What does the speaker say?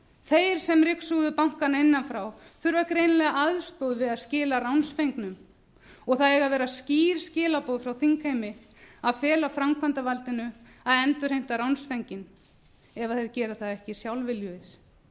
þeir sem ryksuguðu bankana innan frá þurfa greinilega aðstoð við að skila ránsfengnum og það eiga að vera skýr skilaboð frá þingheimi að fela framkvæmdarvaldinu að endurheimta ránsfenginn ef þeir gera það ekki sjálfviljugir